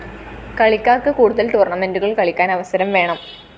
കളിക്കാര്‍ക്ക് കൂടുതല്‍ ടൂര്‍ണമെന്റുകള്‍ കളിക്കാന്‍ അവസരം വേണം